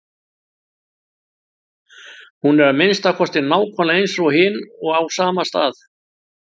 Hún er að minnsta kosti nákvæmlega eins og hin og á sama stað.